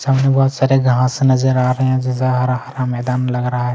सामने बहोत सारे घाँस नज़र आ रहे हैं जैसा हरा-हरा मैदान लग रहा है।